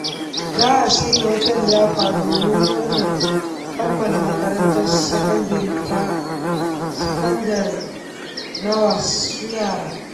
Za a shirya wata liyafa don murnar kammala makarantar sakandare taa sakandare naa wasu yara.